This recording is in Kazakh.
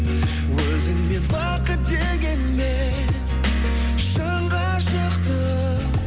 өзіңмен бақыт дегенмен шын ғашықты